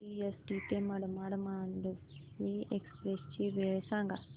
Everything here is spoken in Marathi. सीएसटी ते मडगाव मांडवी एक्सप्रेस ची वेळ सांगा